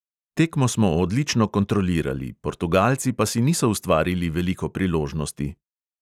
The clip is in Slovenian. Tekmo smo odlično kontrolirali, portugalci pa si niso ustvarili veliko priložnosti.